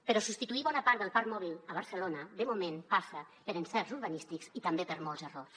però substituir bona part del parc mòbil a barcelona de moment passa per encerts urbanístics i també per molts errors